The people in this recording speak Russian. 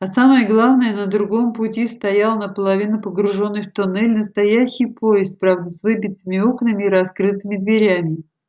а самое главное на другом пути стоял наполовину погружённый в туннель настоящий поезд правда с выбитыми окнами и раскрытыми дверями